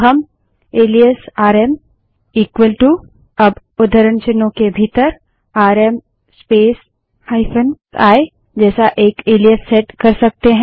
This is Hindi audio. तो हम एलाइस आरएम इक्वल टू अब उद्धरण चिन्हों के भीतर आरएम स्पेस -i जैसा एक एलाइस सेट कर सकते हैं